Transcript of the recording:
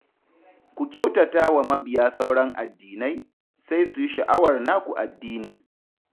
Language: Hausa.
Ku kyautatata wa mabiya sauran addinai, sai su yi sha'awar naku addinin